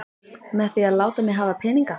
Með því að láta mig hafa peninga?